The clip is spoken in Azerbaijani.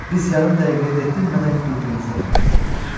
Biz yarım dəqiqəyədək dinmədən bir-birimizə tamaşa etdik.